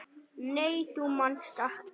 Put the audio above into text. Nei þú manst ekki.